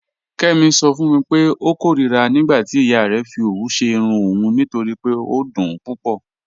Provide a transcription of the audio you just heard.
Kẹmi sọ fun mi pẹ̀ ọ kọ̀rira nígbàtí iya rẹ fì ọwù ṣẹ́ irùn ọun nítorí pé ọ dún púpọ̀.